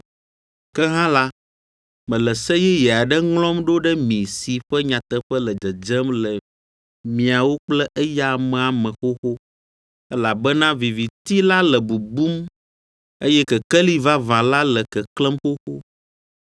Ke hã la, mele se yeye aɖe ŋlɔm ɖo ɖe mi si ƒe nyateƒe le dzedzem le miawo kple eya amea me xoxo, elabena viviti la le bubum eye kekeli vavã la le keklẽm xoxo.